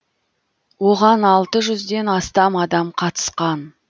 оған алты жүзден астам адам қатысқан